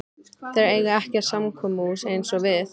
Þeir eiga ekkert samkomuhús eins og við.